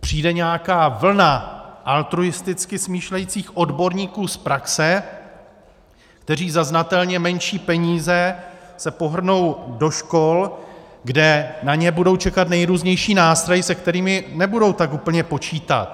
přijde nějaká vlna altruisticky smýšlejících odborníků z praxe, kteří za znatelně menší peníze se pohrnou do škol, kde na ně budou čekat nejrůznější nástrahy, se kterými nebudou tak úplně počítat.